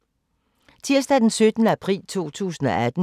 Tirsdag d. 17. april 2018